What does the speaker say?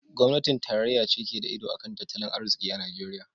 Gwamnatin tarayya ce ke da iko a kan tattalin arziki a Najeriya.